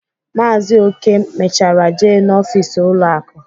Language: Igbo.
Maazi Oke mechara jee n'ọfịs ụlọ akụ